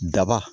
Daba